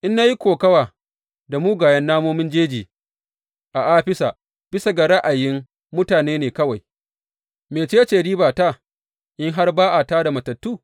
In na yi kokawa da mugayen namomin jeji a Afisa bisa ga ra’ayin mutane ne kawai, mece ce ribata, in har ba a tā da matattu?